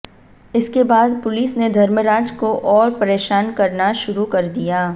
इसके बाद पुलिस ने धर्मराज को और परेशान करना शुरू कर दिया